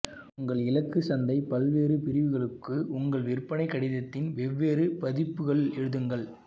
உங்கள் இலக்கு சந்தை பல்வேறு பிரிவுகளுக்கு உங்கள் விற்பனை கடிதத்தின் வெவ்வேறு பதிப்புகள் எழுதுங்கள்